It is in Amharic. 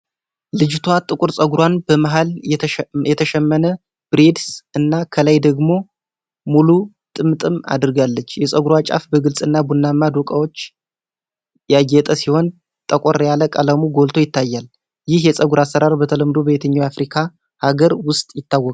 ልጅቷ ጥቁር ፀጉሯን በመሃል የተሸመነ ብሬድስ እና ከላይ ደግሞ ሙሉ ጥምጥም አድርጋለች። የፀጉሯ ጫፍ በግልጽ እና ቡናማ ዶቃዎች ያጌጠ ሲሆን፣ ጠቆር ያለ ቀለሙ ጎልቶ ይታያል። ይህ የፀጉር አሰራር በተለምዶ በየትኛው የአፍሪካ ሃገር ውስጥ ይታወቃል?